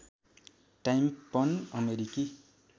time पन अमेरिकी